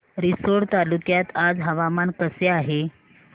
रिसोड तालुक्यात आज हवामान कसे आहे